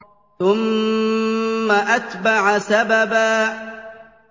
ثُمَّ أَتْبَعَ سَبَبًا